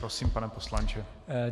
Prosím, pane poslanče.